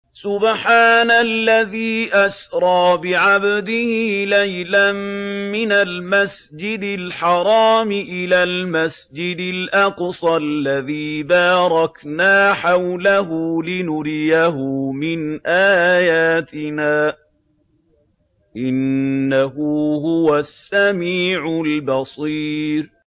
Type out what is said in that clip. سُبْحَانَ الَّذِي أَسْرَىٰ بِعَبْدِهِ لَيْلًا مِّنَ الْمَسْجِدِ الْحَرَامِ إِلَى الْمَسْجِدِ الْأَقْصَى الَّذِي بَارَكْنَا حَوْلَهُ لِنُرِيَهُ مِنْ آيَاتِنَا ۚ إِنَّهُ هُوَ السَّمِيعُ الْبَصِيرُ